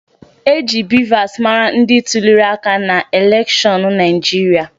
E ji BVAS mata ndị tuliri aka n'elekshọnụ Naịjirịa